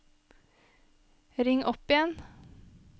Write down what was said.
ring opp igjen